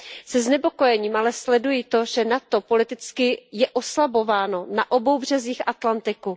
Se znepokojením ale sleduji to, že NATO je politicky oslabováno na obou březích Atlantiku.